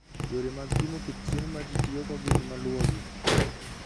Yore mag pimo kit chiemo ma ji tiyogo gin maluwogi: